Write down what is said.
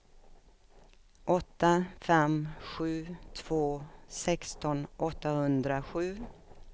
åtta fem sju två sexton åttahundrasju